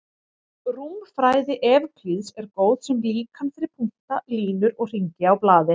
Rúmfræði Evklíðs er góð sem líkan fyrir punkta, línur og hringi á blaði.